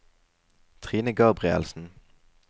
Trine Gabrielsen